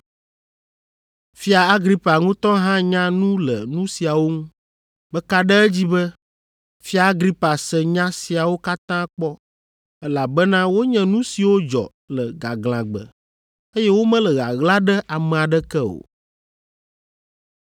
Fia Agripa ŋutɔ hã nya nu le nu siawo ŋu. Meka ɖe edzi be Fia Agripa se nya siawo katã kpɔ, elabena wonye nu siwo dzɔ le gaglãgbe, eye womele ɣaɣla ɖe ame aɖeke o.